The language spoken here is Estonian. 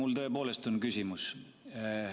Mul tõepoolest on küsimus.